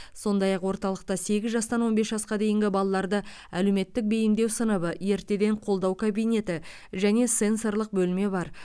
сондай ақ орталықта сегіз жастан он бес жасқа дейінгі балаларды әлеуметтік бейімдеу сыныбы ертеден қолдау кабинеті және сенсорлық бөлме бар